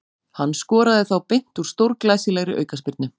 Hann skoraði þá beint úr stórglæsilegri aukaspyrnu.